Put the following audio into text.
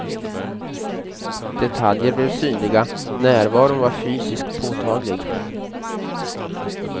Detaljer blev synliga, närvaron var fysiskt påtaglig.